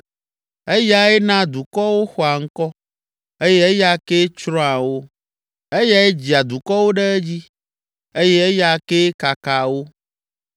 Eyae naa dukɔwo xɔa ŋkɔ eye eya kee tsrɔ̃a wo. Eyae dzia dukɔwo ɖe edzi eye eya kee kakaa wo.